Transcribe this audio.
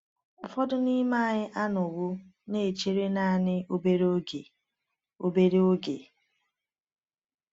Ụfọdụ n’ime anyị anọwo na-echere naanị obere oge. obere oge.